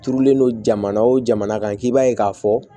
Turulen don jamana o jamana kan i b'a ye k'a fɔ